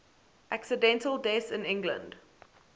accidental deaths in england